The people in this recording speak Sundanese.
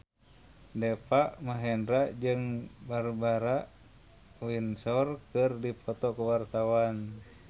Deva Mahendra jeung Barbara Windsor keur dipoto ku wartawan